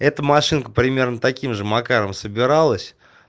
это машинка примерно таким же макаром собиралась